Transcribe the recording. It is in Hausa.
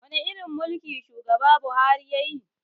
Wani irin mulki shugaba buhari yayi